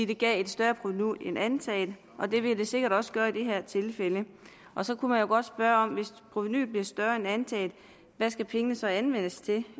det gav et større provenu end antaget og det vil det sikkert også gøre i det her tilfælde så kunne man jo godt spørge hvis provenuet bliver større end antaget hvad skal pengene så anvendes til